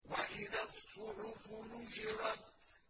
وَإِذَا الصُّحُفُ نُشِرَتْ